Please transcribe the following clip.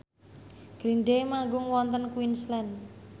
Green Day manggung wonten Queensland